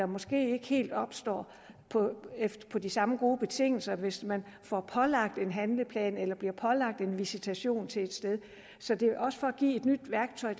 måske ikke helt opstår på på de samme gode betingelser hvis man får pålagt en handleplan eller bliver pålagt en visitation til et sted så det er også for at give et nyt værktøj